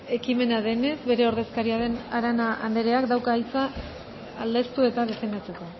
ekimena denez bere ordezkaria den arana andreak dauka hitza aldeztu eta defendatzeko